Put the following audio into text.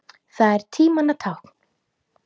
Það er tímanna tákn.